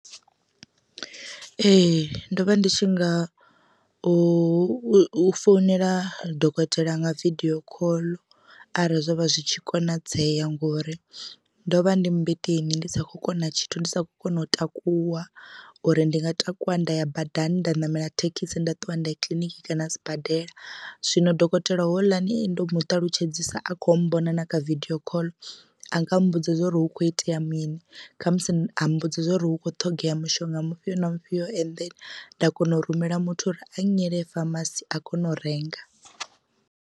Ee ndo vha ndi tshi nga u founela dokotela nga vidio khoḽo arali zwo vha zwi tshi konadzea ngori ndo vha ndi mmbeteni ndi sa kho kona tshithu ndi sa kona u takuwa uri ndi nga takuwa nda ya badani nda ṋamela thekhisi nda ṱuwa nda ya kiḽiniki kana sibadela. Zwino dokotela houḽani ndo mu ṱalutshedzisa a kho mmbona na kha vidio call a nga mbudza zwauri hu kho itea mini khamusi a mbudza zwauri hu kho ṱhogea mushonga mufhio na mufhio and then nda kona u rumela muthu uri a nnyele famasi a kone u renga.